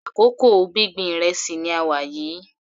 Àkókò gbíngbin ìrẹsì ni a wà yìí.